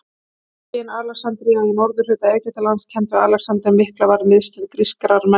Borgin Alexandría í norðurhluta Egyptalands, kennd við Alexander mikla, varð miðstöð grískrar menningar.